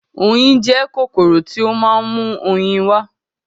Oyin jẹ́ kòkòrò tí ó ma ń mú oyin wá